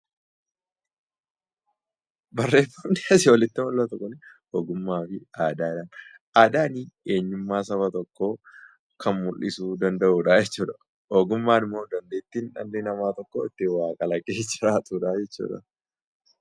Aadaan eenyummaa Saba tokkoo kan mul'isuu danda'udha jechuudha. Ogummaan immoo dandeettii dhalli namaa waa kalaqee jiraatudha.